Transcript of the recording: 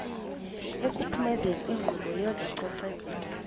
ekuphumezeni inkqubo yezococeko